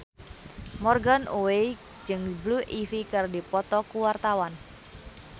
Morgan Oey jeung Blue Ivy keur dipoto ku wartawan